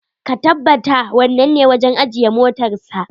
Ka tabbata wannan ne wajen ajiye motarsa.